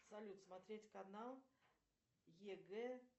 салют смотреть канал егэ